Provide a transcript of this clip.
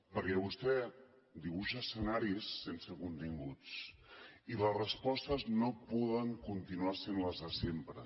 perquè vostè dibuixa escenaris sense continguts i les respostes no poden continuar sent les de sempre